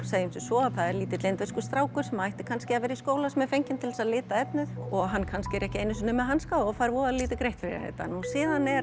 segjum sem svo að það er lítill indverskur strákur sem ætti kannski að vera í skóla sem er fenginn til þess að lita efnið og hann er kannski ekki einu sinni með hanska og fær voða lítið greitt fyrir þetta síðan er